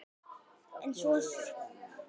En svo skilur leiðir.